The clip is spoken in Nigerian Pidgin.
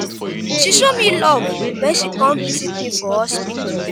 she show me love wen she come visit me for hospital.